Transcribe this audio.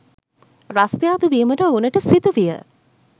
රස්‌තියාදු වීමට ඔවුනට සිදුවිය.